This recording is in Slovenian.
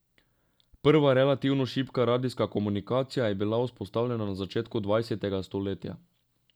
Prva relativno šibka radijska komunikacija je bila vzpostavljena na začetku dvajsetega stoletja.